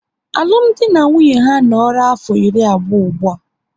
Alụmdi na nwunye ha a noora afọ iri abụọ ụgbụa